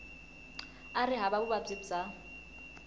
a ri hava vuvabyi bya